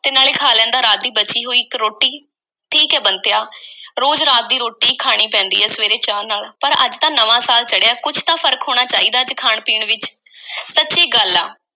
ਤੇ ਨਾਲੇ ਖਾ ਲੈਂਦਾ ਰਾਤ ਦੀ ਬਚੀ ਹੋਈ ਇੱਕ ਰੋਟੀ। ਠੀਕ ਐ ਬੰਤਿਆ, ਰੋਜ਼ ਰਾਤ ਦੀ ਰੋਟੀ ਈ ਖਾਣੀ ਪੈਂਦੀ ਐ, ਸਵੇਰੇ ਚਾਹ ਨਾਲ। ਪਰ ਅੱਜ ਤਾਂ ਨਵਾਂ ਸਾਲ ਚੜ੍ਹਿਐ। ਕੁਝ ਤਾਂ ਫ਼ਰਕ ਹੋਣਾ ਚਾਹੀਦੈ, ਅੱਜ ਖਾਣ-ਪੀਣ ਵਿੱਚ। ਸੱਚੀ ਗੱਲ ਆ,